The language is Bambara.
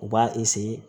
U b'a